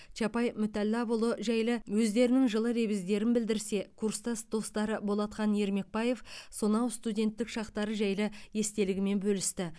чапай мүтәлләпұлы жайлы өздерінің жылы лебіздерін білдірсе курстас достары болатхан ермекбаев сонау студенттік шақтары жайлы естелігімен бөлісті